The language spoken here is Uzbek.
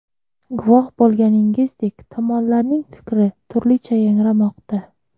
Guvoh bo‘lganingizdek, tomonlarning fikri turlicha yangramoqda.